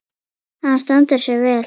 Hann stendur sig vel.